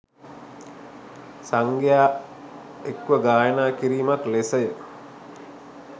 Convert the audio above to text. සංඝයා එක්ව ගායනා කිරීමක් ලෙස ය.